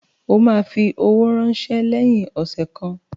O ma fi owó ránsẹ́ lẹ́yìn ọ̀sẹ̀ kan